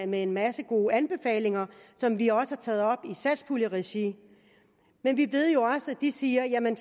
med en masse gode anbefalinger som vi også har taget op i satspuljeregi men vi ved jo også at de siger jamen